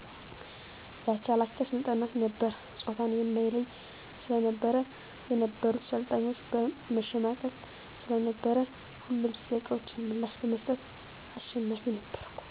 የአቻላቻ ስልጠና ነበር ጾታን የማይለይ ስለነበር የነበሩት ሰልጣኞች መሸማቀቅ ስለነበር ሁሌም ለጥያቄዎች ምላሽ በመስጠት አሸናፊ ነበርኩ።